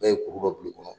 Bɛɛ ye kuru dɔ bulu kɔnɔ